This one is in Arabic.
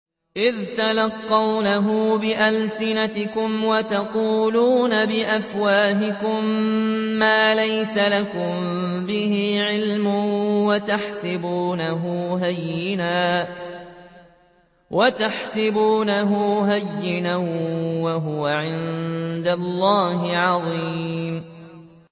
إِذْ تَلَقَّوْنَهُ بِأَلْسِنَتِكُمْ وَتَقُولُونَ بِأَفْوَاهِكُم مَّا لَيْسَ لَكُم بِهِ عِلْمٌ وَتَحْسَبُونَهُ هَيِّنًا وَهُوَ عِندَ اللَّهِ عَظِيمٌ